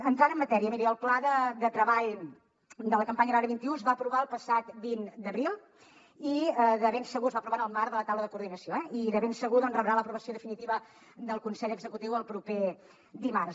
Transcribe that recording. entrant en matèria miri el pla de treball de la campanya agrària vint un es va aprovar el passat vint d’abril i de ben segur es va aprovar en el marc de la taula de coordinació eh doncs rebrà l’aprovació definitiva del consell executiu el proper dimarts